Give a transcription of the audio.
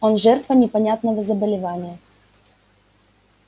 он жертва непонятного заболевания